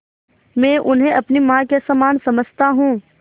मैं उन्हें अपनी माँ के समान समझता हूँ